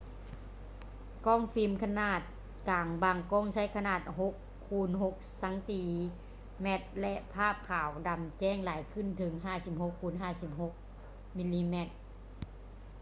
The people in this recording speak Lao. ກ້ອງຟິມຂະໜາດກາງບາງກ້ອງໃຊ້ຂະໜາດ 6x6 ຊມ ແລະ ພາບຂາວດຳແຈ້ງຫຼາຍຂຶ້ນເຖິງ 56x56 ມມ